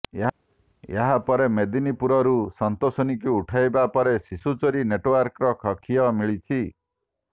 ଏହାପରେ ମେଦିନୀପୁରରୁ ସନ୍ତୋଷିନୀକୁ ଉଠାଇବା ପରେ ଶିଶୁ ଚୋରି ନେଟୱର୍କର ଖିଅ ମିଳିଛି